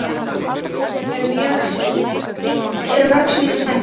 Eru mörg snið og stærðir?